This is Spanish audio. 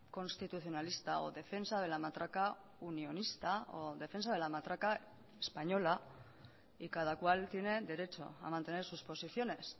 constitucionalista o defensa de la matraca unionista o defensa de la matraca española y cada cual tiene derecho a mantener sus posiciones